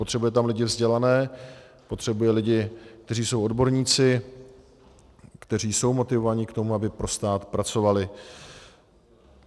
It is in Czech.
Potřebuje tam lidi vzdělané, potřebuje lidi, kteří jsou odborníci, kteří jsou motivováni k tomu, aby pro stát pracovali.